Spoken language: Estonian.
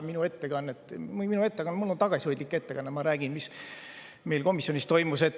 Mul on praegu tagasihoidlik ettekanne, ma räägin, mis meil komisjonis toimus.